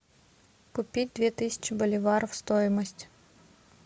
купить две тысячи боливаров стоимость